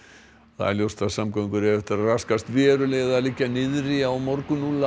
það er ljóst að samgöngur eiga eftir að raskast verulega eða liggja alveg niðri á morgun